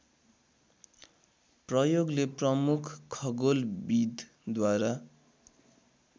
प्रयोगले प्रमुख खगोलविदद्वारा